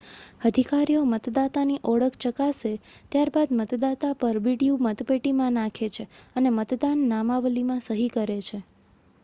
અધિકારીઓ મતદાતાની ઓળખ ચકાસે ત્યાર બાદ મતદાતા પરબીડિયું મતપેટીમાં નાખે છે અને મતદાન નામાવલીમાં સહી કરે છે